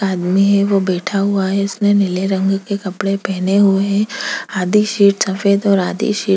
आदमी है वो बैठा हुआ है उसने नीले रंग के कपड़े पहने हुए है आधी शीट सफेद और आधी शीट